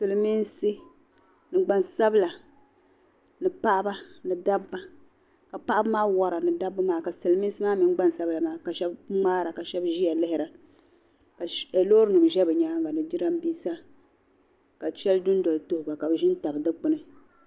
Silimiinsi, gbansabila, ni paɣiba, ni dabba, ka paɣibimaa. wara ni dabba maa, kasilimi nsi kasiliminsi maa mini. gbansabila maa, kabishab mŋaara, ka shab ziya lihira ka. lɔɔri nim zɛ bi nyaaŋa, ni jiranbisa , kashabi dun dɔli tuhi ba zim tabi. di kpuni